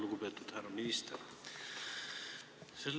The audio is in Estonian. Lugupeetud härra minister!